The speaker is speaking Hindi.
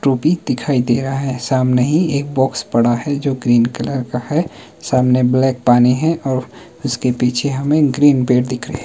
टोपी दिखाई दे रहा है सामने ही एक बॉक्स पड़ा है जो ग्रीन कलर का है सामने ब्लैक पानी है और उसके पीछे हमें ग्रीन पेड़ दिख रहे।